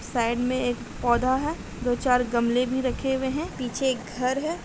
Side में एक पौधा है। दो चार गमले भी रखे हुए हैं। पीछे एक घर है।